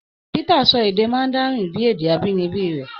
Peter sọ èdè Mandarin bíi èdè abínibí rẹ̀.